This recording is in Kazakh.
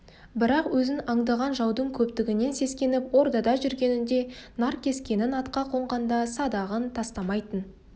бірақ өзін аңдыған жаудың көптігінен сескеніп ордада жүргенінде наркескенін атқа қонғанда садағын тастамайтын